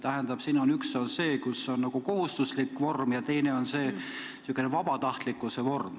Tähendab, siin on üks lause nagu kohustuslikus vormis ja teine sellises vabatahtlikkuse vormis.